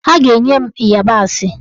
A ga-enye nne m ịyabasị